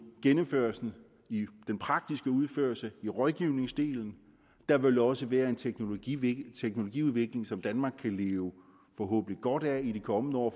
gennemførelsen i den praktiske udførelse og i rådgivningsdelen der vil også være en teknologiudvikling teknologiudvikling som danmark forhåbentlig kan leve godt af i de kommende år